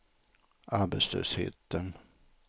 arbetslösheten